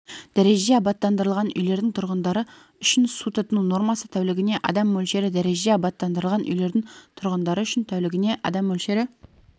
дәрежеде абаттандырылған үйлердің тұрғындары үшін су тұтыну нормасы тәулігіне адам мөлшері дәрежеде абаттандырылған үйлердің тұрғындары үшін тәулігіне адам мөлшері